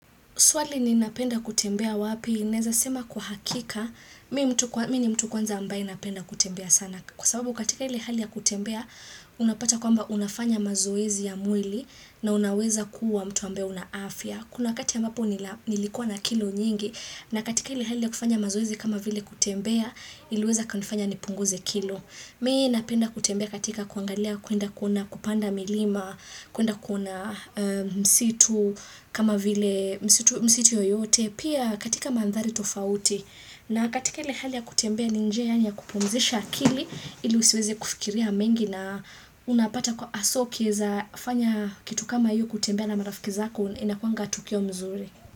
Swali ninapenda kutembea wapi, naeza sema kwa hakika, mi ni mtu kwanza ambaye napenda kutembea sana. Kwa sababu katika ile hali ya kutembea, unapata kwamba unafanya mazoezi ya mwili na unaweza kuwa mtu ambaye una afya. Kuna wakati ambapo nilikuwa na kilo nyingi na katika ile hali ya kufanya mazoezi kama vile kutembea, iliweza kanifanya nipunguze kilo. Mi napenda kutembea katika kuangalia kuenda kuna kupanda milima, kuenda kuona msitu kama vile msitu yoyote, pia katika mandhari tofauti. Na katika ile hali ya kutembea ni njia yani ya kupumzisha akili ili usiweze kufikiria mengi na unapata kuwa haswa ukifanya kitu kama ya kutembea na marafiki zako inakuanga tukio mzuri.